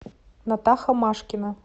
натаха машкина